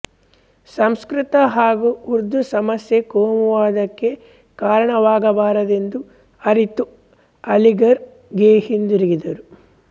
ಸಂಸ್ಕೃತ ಹಾಗೂ ಉರ್ದು ಸಮಸ್ಯೆ ಕೋಮುವಾದಕ್ಕೆ ಕಾರಣವಾಗಬಾರದೆಂದು ಅರಿತು ಅಲಿಘರ್ ಗೆ ಹಿಂದಿರುಗಿದರು